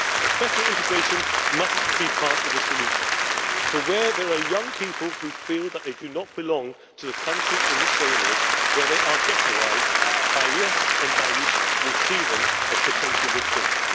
Better integration must be part of the solution, for where there are young people who feel that they do not belong to the country in which they live, where they are ghettoised, ISIS Daesh will see them as potential recruits.